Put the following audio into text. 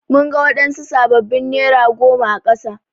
Mun ga wadansu sabbabin nera goma a kasa.